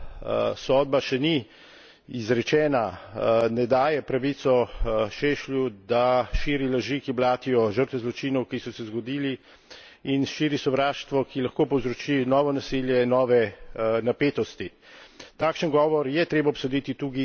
Vendar pa dejstvo, da sodba še ni izrečena, ne daje pravico Šešlju, da širi laži, ki blatijo žrtve zločinov, ki so se zgodili, in širi sovraštvo, ki lahko povzroči novo nasilje, nove napetosti.